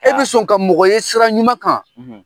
E bɛ sɔn ka mɔgɔ ye sira ɲuman kan,